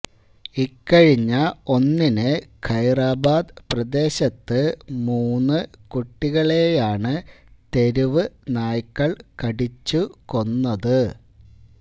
ഇക്കഴിഞ്ഞ ഒന്നിന് ഖൈറാബാദ് പ്രദേശത്ത് മൂന്ന് കുട്ടികളെയാണ് തെരുവ് നായ്ക്കള് കടിച്ചു കൊന്നത്